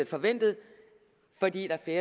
forventet fordi der er